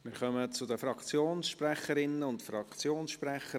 Wir kommen zu den Fraktionssprecherinnen und Fraktionssprechern.